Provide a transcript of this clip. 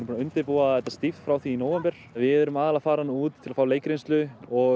að undirbúa þetta stíft frá því í nóvember við erum aðallega að fara út til að fá leikreynslu og